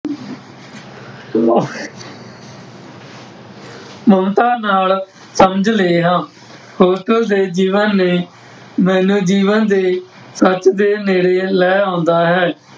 ਮ ਮੁਲਤਾ ਨਾਲ ਸਮਝ ਲੈਣਾ, ਉਸਦੇ ਜੀਵਨ ਨੇ ਮੈਨੂੰ ਜੀਵਨ ਦੇ ਸੱਚ ਦੇ ਨੇੜੇ ਲੈ ਆਉਂਦਾ ਹੈ।